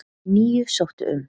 Níu sóttu um